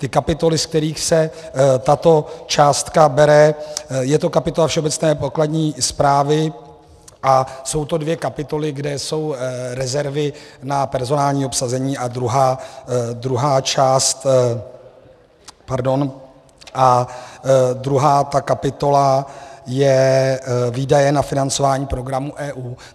Ty kapitoly, z kterých se tato částka bere - je to kapitola Všeobecné pokladní správy a jsou to dvě kapitoly, kde jsou rezervy na personální obsazení, a druhá ta kapitola je Výdaje na financování programů EU.